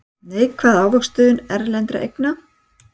Neikvæð ávöxtun erlendra eigna